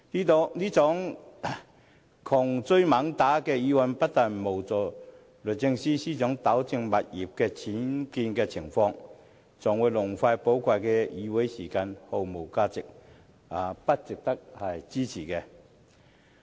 這種窮追猛打的議案，不但無助律政司司長糾正物業的僭建情況，還浪費寶貴的議會時間，毫無價值，不值得支持。